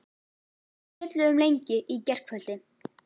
Við spjölluðum lengi í gærkvöldi.